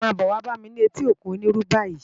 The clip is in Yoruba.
Má bò wá bá mi ni éti ókún Oniru bàyi